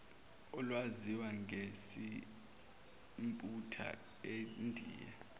olwaziwa ngesimputer endiya